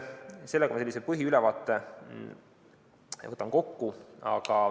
Sellega ma võtan põhiülevaate kokku.